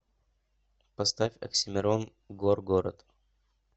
поставь оксимирон горгород